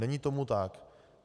Není tomu tak.